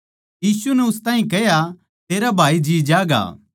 यीशु नै उन ताहीं कह्या तेरा भाई जीं ज्यागा